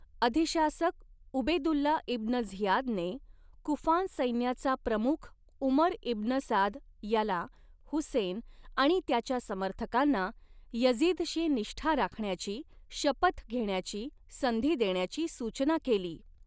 अधिशासक Ubaidullah ibn झियादने, कुफान सैन्याचा प्रमुख उमर इब्न साद याला हुसेन आणि त्याच्या समर्थकांना यझिदशी निष्ठा राखण्याची शपथ घेण्याची संधी देण्याची सूचना केली.